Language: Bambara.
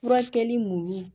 Furakɛli mun